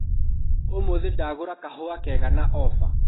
ũmũthĩ ndagũra kahũa kega na ofa.